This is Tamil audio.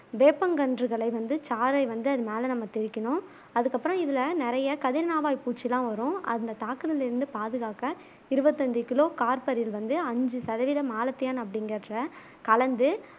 வேப்பங்கன்றுகளை வந்து சாறை வந்து அது மேல நம்ம தெளிக்கணும் அதுக்கப்புறம் இதுல நெறைய கதிர்னாவாய் பூச்சிலாம் வரும் அந்த தாக்குதல்ல இருந்து பாதுகாக்க இருவத்தஞ்சு கிலோ கார்பரிர் வந்து அஞ்சு சதவிகிதம் மாலத்தியன் அப்பிடிங்குறத கலந்து